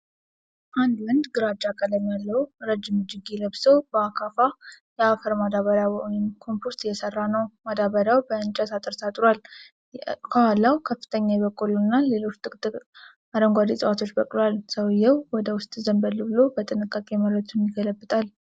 አንድ ወንድ ግራጫ ቀለም ያለው ረዥም እጅጌ ለብሶ በአካፋ የአፈር ማዳበሪያ (ኮምፖስት) እየሠራ ነው። ማዳበሪያው በእንጨት አጥር ታጥሯል፣ ከኋላው ከፍተኛ የበቆሎ እና ሌሎች ጥቅጥቅ አረንጓዴ ዕፅዋት በቅለዋል። ሰውየው ወደ ውስጥ ዘንበል ብሎ በጥንቃቄ መሬቱን ይገለብጣል።